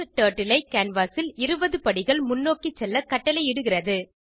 turtle ஐ canvas ல் 20 படிகள் முன்னோக்கி செல்ல கட்டளையிடுகிறது